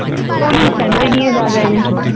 only family নিয়ে যাওয়া যায় নাকি